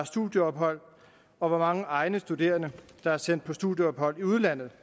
studieophold og hvor mange egne studerende der er sendt på studieophold i udlandet